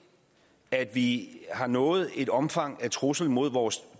at vi har nået et omfang af trusler mod vores